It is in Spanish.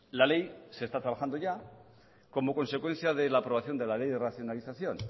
la ley se está trabajando ya como consecuencia de la aprobación de la ley de racionalización